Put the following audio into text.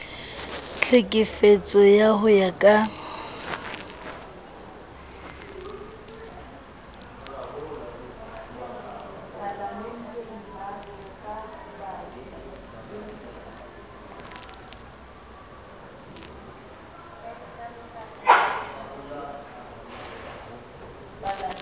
tlhekefetso ao ho ya ka